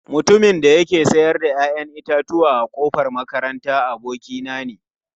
Mutumin da yake sayar da 'ya'yan itatuwa a kofar makaranta, abokina ne.